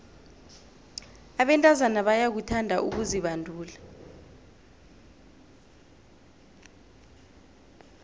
abentazana bayakuthanda ukuzibandula